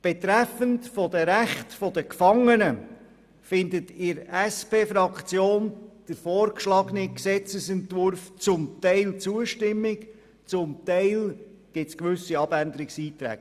Betreffend die Rechte der Gefangenen findet in der SP-JUSO-PSAFraktion der vorliegende Gesetzesentwurf zum Teil Zustimmung, zum Teil gibt es gewisse Abänderungsanträge.